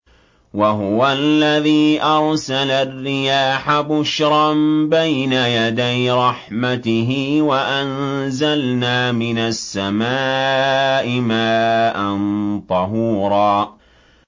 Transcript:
وَهُوَ الَّذِي أَرْسَلَ الرِّيَاحَ بُشْرًا بَيْنَ يَدَيْ رَحْمَتِهِ ۚ وَأَنزَلْنَا مِنَ السَّمَاءِ مَاءً طَهُورًا